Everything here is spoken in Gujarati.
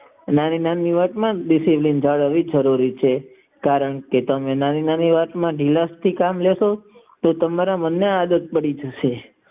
નાની નાની વાત માં બંધાવું જરૂરી છે કારણ કે નાની નાની વાત માં ધીમાસ જરૂરી છે તે તમારા મન માં આદત પડી જશે